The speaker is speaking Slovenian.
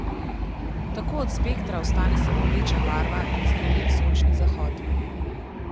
Tako od spektra ostane samo rdeča barva in z njo lep sončni zahod.